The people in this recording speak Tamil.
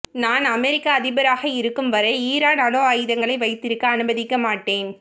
நான் அமெரிக்க அதிபராக இருக்கும் வரை ஈரான் அணு ஆயுதங்களை வைத்திருக்க அனுமதிக்க மாட்டேன்